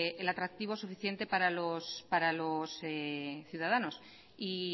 el atractivo suficiente para los ciudadanos y